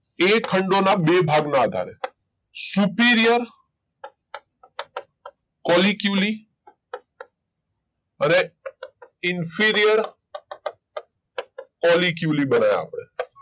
એ ખંડો ના બે ભાગ ના આધારે superior કોલી ક્યુલી અને inferior કોલી ક્યુલી ભણ્યા આપડે.